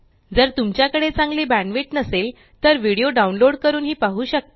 जर तुमच्याकडे चांगली बॅण्डविड्थ नसेल तर व्हिडीओ डाउनलोड करूनही पाहू शकता